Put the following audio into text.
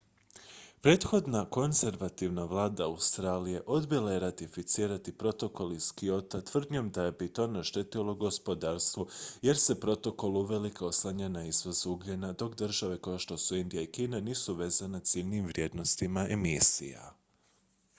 prethodna konzervativna vlada australije odbila je ratificirati protokol iz kyota tvrdnjom da bi to naštetilo gospodarstvu jer se protokol uvelike oslanja na izvoz ugljena dok države kao što su indija i kina nisu vezane ciljnim vrijednostima emisija